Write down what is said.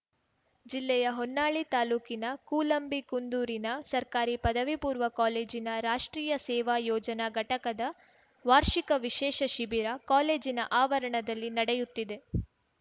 ಜಿಲ್ಲೆಯ ಹೊನ್ನಾಳಿ ತಾಲೂಕಿನ ಕೂಲಂಬಿಕುಂದೂರಿನ ಸರ್ಕಾರಿ ಪದವಿ ಪೂರ್ವ ಕಾಲೇಜಿನ ರಾಷ್ಟ್ರೀಯ ಸೇವಾ ಯೋಜನಾ ಘಟಕದ ವಾರ್ಷಿಕ ವಿಶೇಷ ಶಿಬಿರ ಕಾಲೇಜಿನ ಆವರಣದಲ್ಲಿ ನಡೆಯುತ್ತಿದೆ